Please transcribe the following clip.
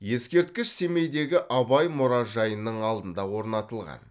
ескерткіш семейдегі абай мұражайының алдына орнатылған